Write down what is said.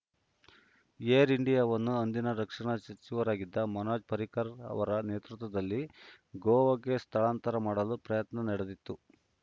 aero ಇಂಡಿಯಾವನ್ನು ಅಂದಿನ ರಕ್ಷಣಾ ಸಚಿವರಾಗಿದ್ದ ಮನೋಹರ್‌ ಪರ್ರಿಕರ್‌ ಅವರ ನೇತೃತ್ವದಲ್ಲಿ ಗೋವಾಗೆ ಸ್ಥಳಾಂತರ ಮಾಡಲು ಪ್ರಯತ್ನ ನಡೆದಿತ್ತು